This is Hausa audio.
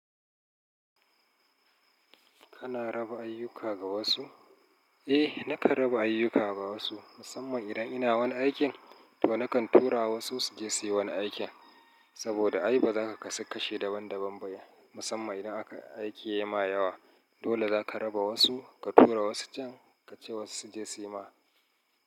Kana raba ayyuka ga wasu? Eh, nakan raba ayyuka ga wasu. Musamman idan ina wani aikin to nakan tura wasu su je suyi wani aikin. Saboda ai bazaka kasu kashi daban daban ba. Musamman idan aikin yai ma yawa. Dole zaka raba wasu, ka tura wasu can, ka ce wasu su je suyi ma.